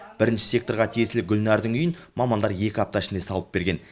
бірініші секторға тиесілі гүлнардың үйін мамандар екі апта ішінде салып берген